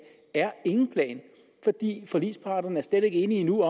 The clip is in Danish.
er ingen plan fordi forligsparterne slet ikke endnu